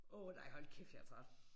Åh nej hold kæft jeg er træt